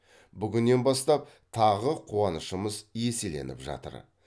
бүгіннен бастап тағы қуанышымыз еселеніп жатыр